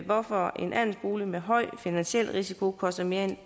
hvorfor en andelsbolig med høj finansiel risiko koster mere end